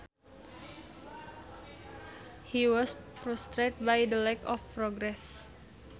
He was frustrated by the lack of progress